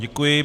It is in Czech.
Děkuji.